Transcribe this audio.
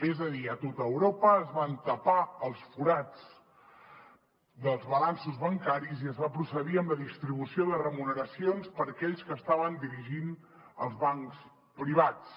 és a dir a tot europa es van tapar els forats dels balanços bancaris i es va procedir a la distribució de remuneracions per aquells que estaven dirigint els bancs privats